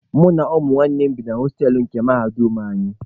Mụ na nwanne m bi na hostelụ nke mahadum anyị.